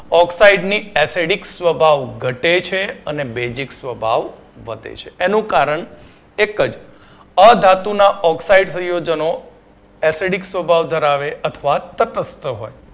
oxide ની acidic સ્વભાવ ઘટે છે અને basic સ્વભાવ વધે છે એનું કારણ એક જ અધાતુના oxide પ્રિયોજનો acidic સ્વભાવ ધરાવે અથવા તટસ્થ હોય